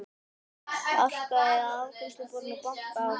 Arkaði að afgreiðsluborðinu og bankaði á það.